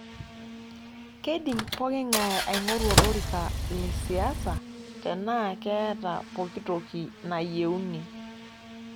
Keidim pooking'ae aing'oru olorika le siasa tenaa keeta pooki toki neyieunoi.